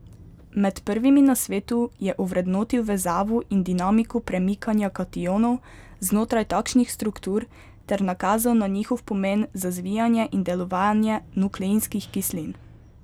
Med prvimi na svetu je ovrednotil vezavo in dinamiko premikanja kationov znotraj takšnih struktur ter nakazal na njihov pomen za zvijanje in delovanje nukleinskih kislin.